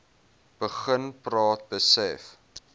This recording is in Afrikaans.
begin praat besef